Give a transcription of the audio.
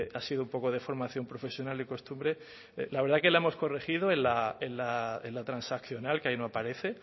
ha sido un poco de formación profesional y costumbre la verdad que la hemos corregido en la transaccional que hoy no aparece